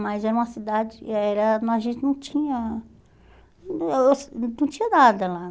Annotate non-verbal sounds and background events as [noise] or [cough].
Mas era uma cidade era e a gente não tinha... [unintelligible] Não tinha nada lá.